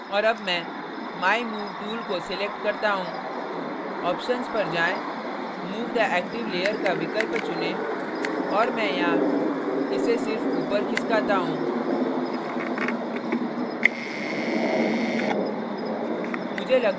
और अब मैं my move tool को select करता move options पर जाएँ move the active layer का विकल्प चुनें और मैं यहाँ इसे सिर्फ ऊपर खिसकाता move